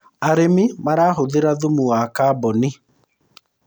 arĩmi marahuthira thumu wa carbon